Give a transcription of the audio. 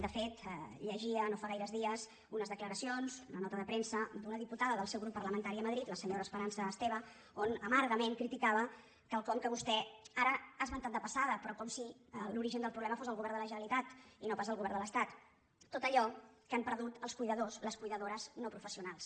de fet llegia no fa gaires dies unes declaracions una nota de premsa d’una diputada del seu grup parlamentari a madrid la senyora espe·rança esteve on amargament criticava quelcom que vostè ara ha esmentat de passada però com si l’ori·gen del problema fos el govern de la generalitat i no pas el govern de l’estat tot allò que han perdut els cuidadors les cuidadores no professionals